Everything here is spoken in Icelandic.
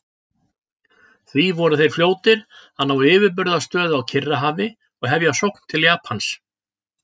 Því voru þeir fljótir að ná yfirburðastöðu á Kyrrahafi og hefja sókn til Japans.